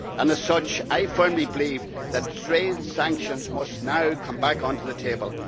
As such, I firmly believe that real sanctions must now come back on to the table.